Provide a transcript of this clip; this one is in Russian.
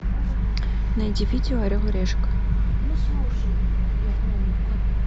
найди видео орел и решка